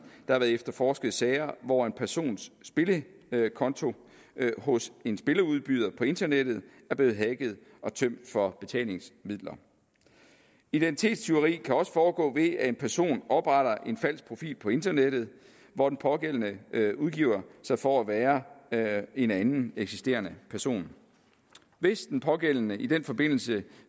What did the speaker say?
der efterforsket sager hvor en persons spillekonto hos en spilleudbyder på internettet er blevet hacket og tømt for betalingsmidler identitetstyveri kan også foregå ved at en person opretter en falsk profil på internettet hvor den pågældende udgiver sig for at være en anden eksisterende person hvis den pågældende i den forbindelse